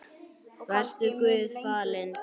Vertu Guði falinn.